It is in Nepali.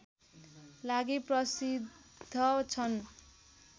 लागि प्रसिद्ध छन्